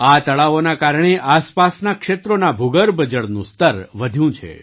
આ તળાવોના કારણે આસપાસનાં ક્ષેત્રોના ભૂગર્ભ જળનું સ્તર વધ્યું છે